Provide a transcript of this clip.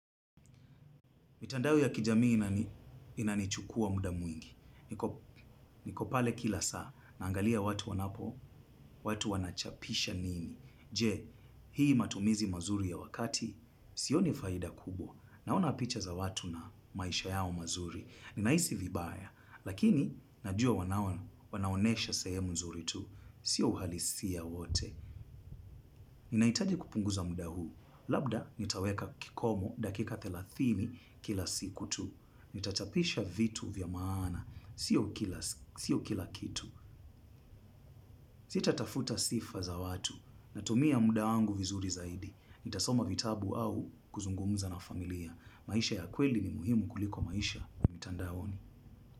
Mitandao ya kijamii inanichukua muda mwingi. Nikopale kila saa, naangalia watu wanapo, watu wanachapisha nini. Je, hii matumizi mazuri ya wakati, sioni faida kubwa. Naona picha za watu na maisha yao mazuri. Ninaisi vibaya, lakini najua wanaonesha sehemu nzuri tu. Sio uhalisiya wote. Ninaitaji kupunguza muda huu. Labda, nitaweka kikomo dakika thelathini kila siku tu. Ni tachapisha vitu vya maana. Sio kila kitu. Sitatafuta sifa za watu, natumia muda wangu vizuri zaidi. Nitasoma vitabu au kuzungumuza na familia, maisha ya kweli ni muhimu kuliko maisha ya mitandaoni.